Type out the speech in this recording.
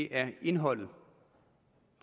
er indholdet